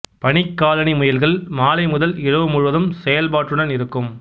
பனிக்காலணி முயல்கள் மாலை முதல் இரவு முழுவதும் செயல்பாட்டுடன் இருக்கும்